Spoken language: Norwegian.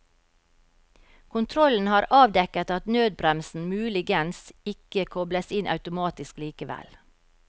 Kontrollen har avdekket at nødbremsen muligens ikke kobles inn automatisk likevel.